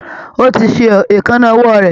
Ó ti ṣe èékánná ọwọ́ rẹ̀